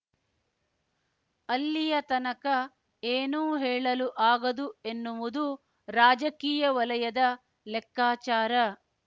ಅಲ್ಲಿಯ ತನಕ ಏನೂ ಹೇಳಲು ಆಗದು ಎನ್ನುವುದು ರಾಜಕೀಯ ವಲಯದ ಲೆಕ್ಕಾಚಾರ